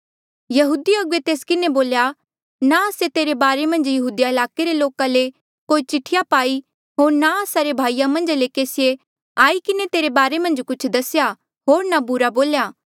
यहूदी अगुवे तेस किन्हें बोल्या ना आस्से तेरे बारे मन्झ यहूदिया ईलाके रे लोका ले कोई चिठिया पाई होर ना आस्सा रे भाईया मन्झा ले केसिए आई किन्हें तेरे बारे मन्झ कुछ दसेया होर ना बुरा बोल्या